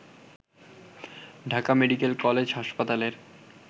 Dhaka medical college হাসপাতালের